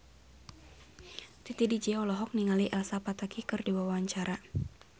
Titi DJ olohok ningali Elsa Pataky keur diwawancara